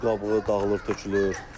Üz qabığı dağılır, tökülür.